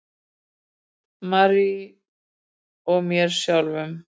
Marie og mér sjálfum.